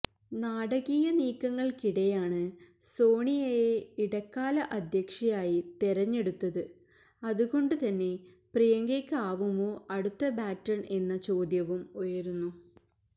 നാടകീയ നീക്കങ്ങൾക്കിടെയാണ് സോണിയയെ ഇടക്കാല അധ്യക്ഷയായി തെരഞ്ഞെടുത്തത് അതുകൊണ്ടു തന്നെ പ്രിയങ്കയ്ക്കാവുമോ അടുത്ത ബാറ്റൺ എന്ന ചോദ്യവും ഉയരുന്നു